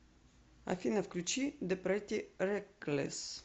афина включи зе претти реклесс